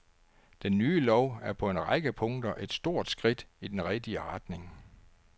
Den nye lov er på en række punkter et stort skridt i den rigtige retning.